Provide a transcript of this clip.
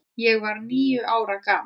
Ég var níu ára gamall.